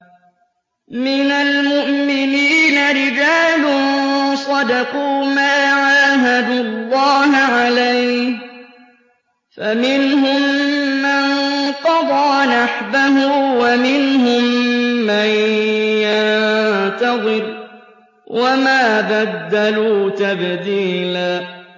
مِّنَ الْمُؤْمِنِينَ رِجَالٌ صَدَقُوا مَا عَاهَدُوا اللَّهَ عَلَيْهِ ۖ فَمِنْهُم مَّن قَضَىٰ نَحْبَهُ وَمِنْهُم مَّن يَنتَظِرُ ۖ وَمَا بَدَّلُوا تَبْدِيلًا